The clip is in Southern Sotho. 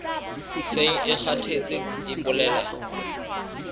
seng e kgathetse e bolela